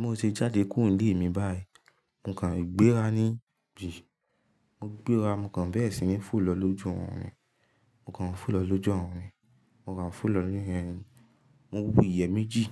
mo ṣe jáde kúrò nílé mi báyìí, mo kàn gbéra ní gbí, mo gbéra mo kàn bẹ́ẹ̀ sìni fò lọ lójú ọ̀run rí. Mo kàn fò lọ lójú ọ̀run rí. Mo kàn fò lọ ní. Mo wu ìyẹ́ méjì.